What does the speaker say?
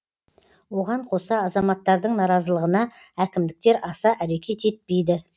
оған қоса азаматтардың наразылығына әкімдіктер аса әрекет етпейді